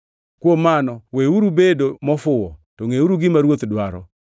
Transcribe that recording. Kuom mano weuru bedo mofuwo, to ngʼeuru gima Ruoth dwaro.